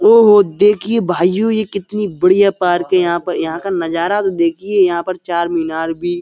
ओहो देखिए भाइयो ये कितनी बढ़ियां पार्क है। यहाँ पर यहाँ का नजारा तो देखिए। यहाँ पर चार मीनार भी --